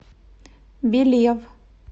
белев